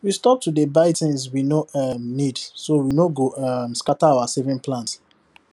we stop to dey buy things we no um need so we no go um scatter our saving plan